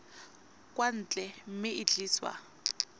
kwa ntle mme e tliswa